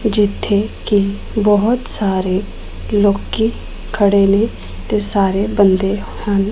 ਜਿੱਥੇ ਕਿ ਬਹੁਤ ਸਾਰੇ ਲੋਕੀ ਖੜੇ ਨੇ ਤੇ ਸਾਰੇ ਬੰਦੇ ਹਨ।